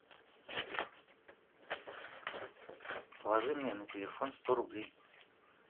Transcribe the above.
положи мне на телефон сто рублей